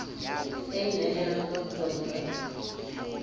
e nehelang ka botswadi ba